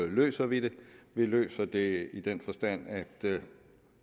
løser vi det vi løser det i den forstand at